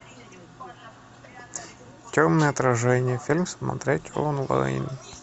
темное отражение фильм смотреть онлайн